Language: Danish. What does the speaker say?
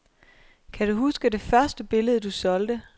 Kan du huske, det første billede, du solgte?